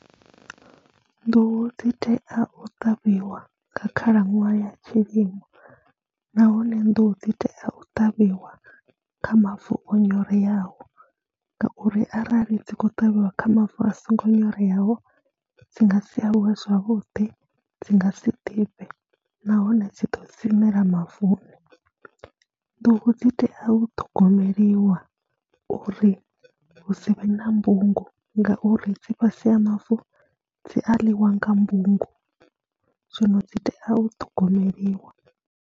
Nḓuhu dzi tea u ṱavhiwa nga khalaṅwaha ya tshilimo nahone nḓuhu dzi tea u ṱavhiwa kha mavu o nyoreyaho ngauri arali dzi khou ṱavhiwa kha mavu a songo nyoreyaho dzi nga si aluwe zwavhuḓi, dzi nga si ḓifhe nahone dzi ḓo siṋela mavuni. Nḓuhu dzi tea u ṱhogomeliwa uri hu si vhe na mbungu ngauri dzi fhasi ha mavu dzi a ḽiwa nga mbungu zwino dzi tea u ṱhogomeliwa.